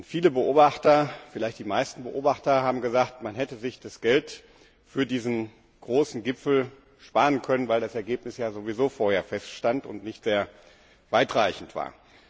Viele, vielleicht die meisten Beobachter haben gesagt, man hätte sich das Geld für diesen großen Gipfel sparen können, weil das Ergebnis sowieso vorher feststand und nicht sehr weitreichend war.